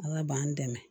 Ala b'an dɛmɛ